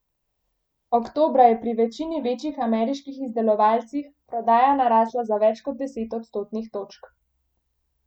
Oktobra je pri večini večjih ameriških izdelovalcih prodaja narasla za več kot deset odstotnih točk.